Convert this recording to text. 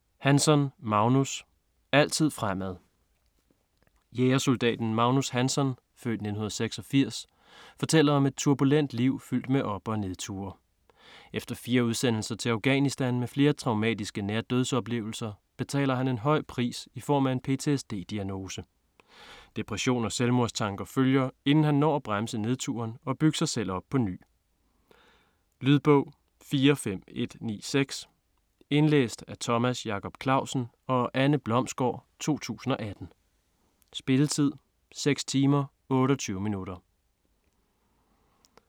Hansson, Magnus: Altid fremad Jægersoldaten Magnus Hansson (f. 1986) fortæller om et turbulent liv, fyldt med op- og nedture. Efter fire udsendelser til Afghanistan med flere traumatiske nærdødsoplevelser, betaler han en høj pris i form af en PTSD-diagnose. Depression og selvmordstanker følger, inden han når at bremse nedturen og bygge sig selv op på ny. Lydbog 45196 Indlæst af Thomas Jacob Clausen og Anne Blomsgård, 2018. Spilletid: 6 timer, 28 minutter.